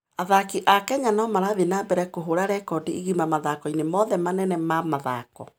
Athaki a Kenya no marathiĩ na mbere na kũhũũra rekondi igima mathako-inĩ mothe manene ma mathako.